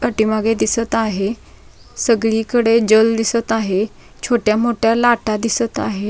पाठीमागे दिसत आहे सगळी कडे जल दिसत आहे छोट्या मोठ्या लाटा दिसत आहे.